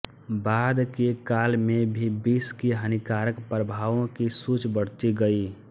बाद के काल में भी विष के हानिकारक प्रभावों की सूचबढ़ती गई